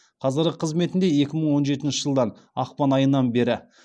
қазіргі қызметінде екі мың он жетінші жылдан ақпан айынан бері